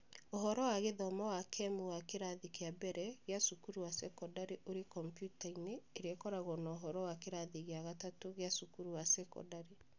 Ũhoro wa gĩthomo wa kemu wa kĩrathi gĩa mbere gĩa cukuru ya thekondarĩ ũrĩ kompiuta-inĩ ĩrĩa ĩkoragwo na ũhoro wa kĩrathi gĩa gatatũ gĩa cukuru ya thekondarĩ.